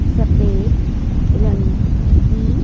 सफेद रंग की--